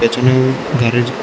এখানে গ্যারেজ ।